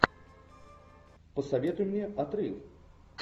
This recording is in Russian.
посоветуй мне отрыв